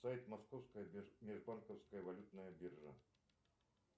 сайт московская межбанковская валютная биржа